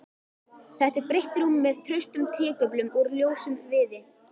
Þetta er breitt rúm með traustum trégöflum úr ljósum viði.